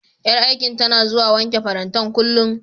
Ƴar aikin tana zuwa wanke farantan, kullum.